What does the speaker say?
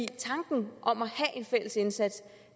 tanken om at have en fælles indsats